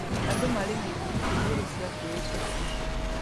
Andũ marĩ na ithimi cia igũrũ cia kwĩĩtĩkia